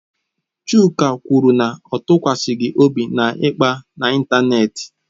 Chuka kwuru na ya atụkwasịghị obi na ịkpa n'ịntanetị.